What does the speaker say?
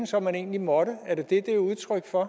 som man egentlig måtte er det det det er udtryk for